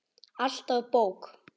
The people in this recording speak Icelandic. Alltaf bók.